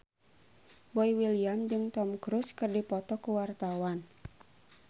Boy William jeung Tom Cruise keur dipoto ku wartawan